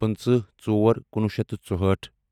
پٕنٛژٕہ ژور کُنوُہ شیٚتھ تہٕ ژُہٲٹھ